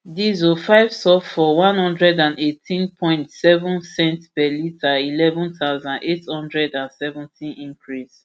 diesel five sulphur one hundred and eighteen point seven cents per litre eleven thousand, eight hundred and seventy cl increase